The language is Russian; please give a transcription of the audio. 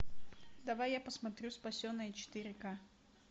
давай я посмотрю спасенные четыре ка